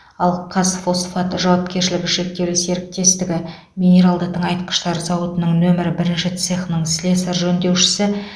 ал қазфосфат жауапкершілігі шектеулі серіктестігі минералды тыңайтқыштар зауытының нөмірі бірінші цехының слесарь жөндеушісі